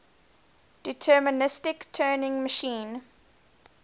deterministic turing machine